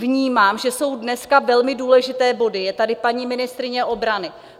Vnímám, že jsou dneska velmi důležité body, je tady paní ministryně obrany.